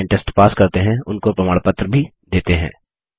जो online test pass करते हैं उनको प्रमाण पत्र भी देते हैं